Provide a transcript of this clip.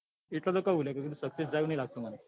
એટલે તો કઉં કે success કે લ્લ્યા success જાય એવું નાથ લાગતું